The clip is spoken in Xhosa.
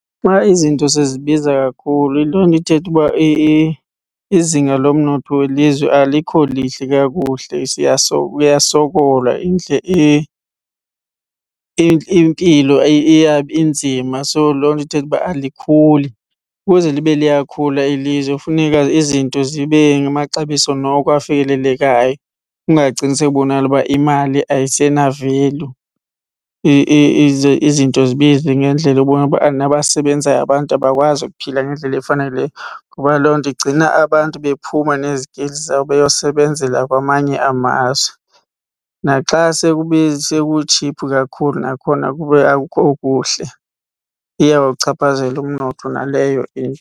Xa izinto sezibiza kakhulu yiloo nto ithetha uba izinga lomnotho welizwe alikho lihle kakuhle kuyasokolwa impilo inzima. So, loo nto ithetha uba alikhuli. Ukuze libe liyakhula ilizwe kufuneka izinto zibe ngamaxabiso noko afikelelekayo kungagcini sekubonakala uba imali ayisena-value. Izinto zibize ngendlela ebonakala uba nabasebenzayo abantu abakwazi ukuphila ngendlela efaneleyo ngoba loo nto igcina abantu bephuma nezikili zabo beyosebenzela kwamanye amazwe. Naxa sekutshiphu kakhulu nakhona kube akukho kuhle, iyawuchaphazela umnotho naleyo into.